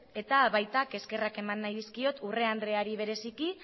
eta baita eskerrak eman nahi dizkiot urrea andreari bereziki